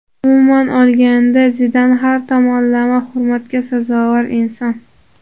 Umuman olganda, Zidan har tomonlama hurmatga sazovor inson.